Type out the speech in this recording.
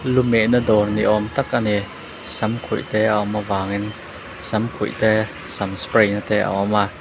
lumehna dawr ni âwm tak a ni samkhuih tê a awm avângin samkhuih te sam spray na te a awm a.